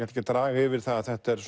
ekki að draga yfir það að þetta er